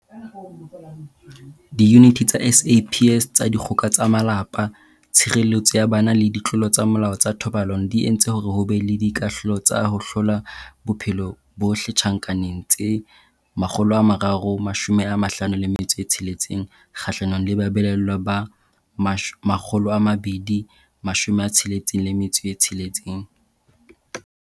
Diyuniti tsa SAPS tsa Dikgoka tsa Malapa, Tshireletso ya Bana le Ditlolo tsa Molao tsa Thobalano di entse hore ho be le dikahlolo tsa ho hlola bophelo bohle tjhankaneng tse 356 kgahlanong le babelaellwa ba 266.